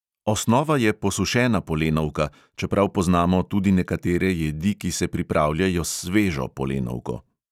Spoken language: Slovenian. Osnova je posušena polenovka, čeprav poznamo tudi nekatere jedi, ki se pripravljajo s svežo polenovko.